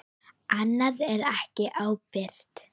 Annað er ekki ábyrgt.